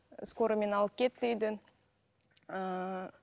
скорыймен алып кетті үйден ыыы